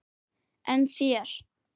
En þér?